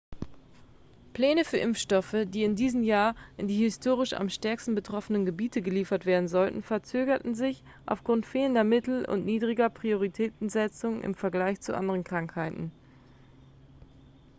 pläne für impfstoffe die in diesem jahr in die historisch am stärksten betroffenen gebiete geliefert werden sollten verzögerten sich aufgrund fehlender mittel und niedriger prioritätensetzung im vergleich zu anderen krankheiten